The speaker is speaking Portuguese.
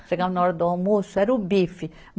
Chegava na hora do almoço, era o bife.